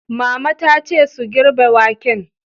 Mama ta ce su "girbe waken"!